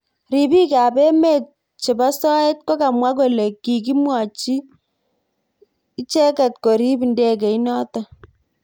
Ribik ab emet chebo soet kokamwa kole kikimwochimicheket korib ndegeit notok.